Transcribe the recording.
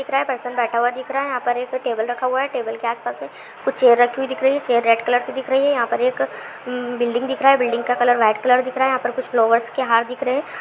दिख रहा है पेशेंट बैठा हुआ दिख रहा है| यहाँ पर एक टेबल रखा हुआ है टेबल के आस-पास में कुछ चेयर रखी हुई दिख रही है| चेयर रेड कलर की दिख रही है| यहाँ पर एक म बिल्डिंग दिख रहा है बिल्डिंग का कलर वाइट कलर दिख रहा है| यहाँ पर कुछ फ्लावर्स के हार दिख रहे हैं।